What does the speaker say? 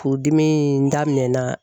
Furudimi in daminɛna